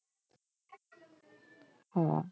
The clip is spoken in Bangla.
হ্যাঁ